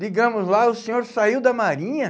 Ligamos lá, o senhor saiu da Marinha?